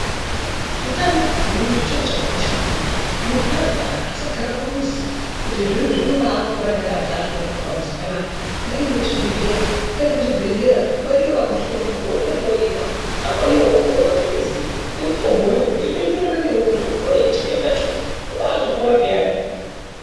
Utano wemuntu chiro chakakosha maningi, muntu arwara asagara pamuzi kuti zvinobaa pora ndakagara panapa pamuzi panapa ngaende kuchibhedhlera, aende kuchibhedhlera variyo vanohloya, wondohloyiwa ahloyiwe wopuwe mapirizi emutombo iwowo unoenderana newe kuti upore chitenda choo wobaa pora peyani.